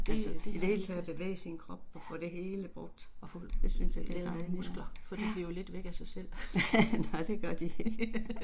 Ja. Og få lavet nogle muskler, for de bliver jo let væk af sig selv